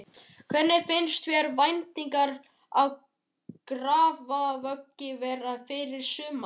Hvernig finnst þér væntingarnar í Grafarvogi vera fyrir sumarið?